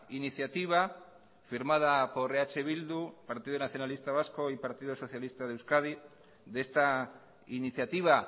iniciativa firmada por eh bildu partido nacionalista vasco y partido socialista de euskadi de esta iniciativa